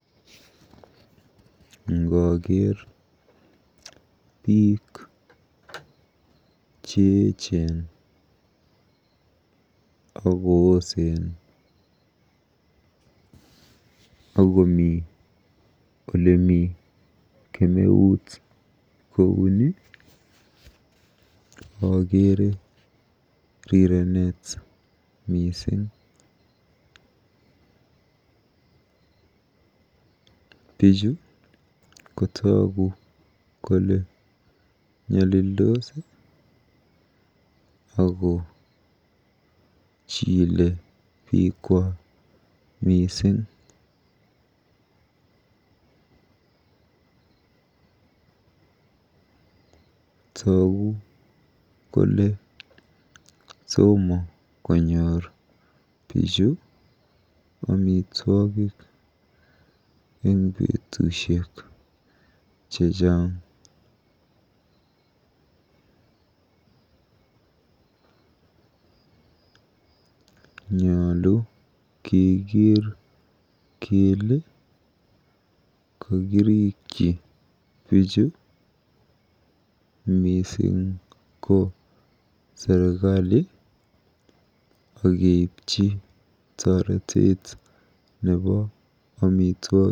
Ngooker biik cheechen akoosen akomi olemi kemeut kouni akeere rirenet mising. Bichu ko tuugu kole nyolildos akochile biikwak mising. Toogu kole tomo konyor bichu amitwogik eng betusiek chechang. Nyolu kekeer kele kakirikyi biichu, mising ko serikali, akeipchi toreteet nebo amitwogik.